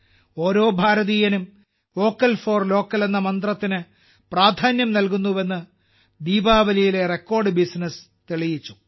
ഓരോ ഭാരതീയനും vocal for local എന്ന സന്ദേശത്തിന് പ്രാധാന്യം നൽകുന്നുവെന്ന് ദീപാവലിയിലെ റെക്കോർഡ് ബിസിനസ് തെളിയിച്ചു